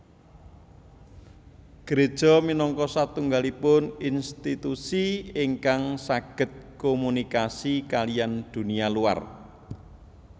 Gereja minangka satunggalipun institusi ingkang saged komunikasi kaliyan dunia luar